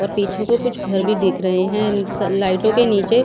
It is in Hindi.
और पीछे को कुछ घर भी दिख रहे हैं स लाइटों के नीचे--